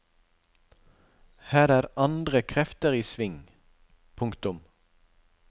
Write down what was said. Her er andre krefter i sving. punktum